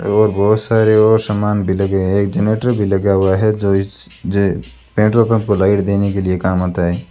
और बहोत सारे और सामान भी लगे एक जनरेटर भी लगा हुआ है जो इस जे पेट्रोल पंप को लाइट देने के लिए काम आता है।